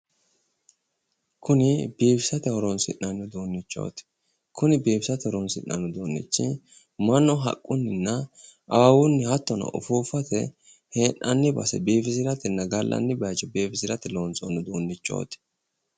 kuni biifisate horonsi'nanni uduunnichooti kuni biifisate horonsi'nanni uduunnichi mannu haqqunninnna awawunni hattono ufuuffate hee'nanni base biifisiratenna gallanni bayicho biifisirate loonsoonni uduunnichooti.